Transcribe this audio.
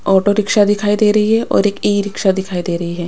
Auto rickshaw दिखाई दे रही है और एक ई रिक्शा दिखाई दे रही है।